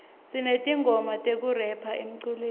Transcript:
sinetingoma tekurepha emculweni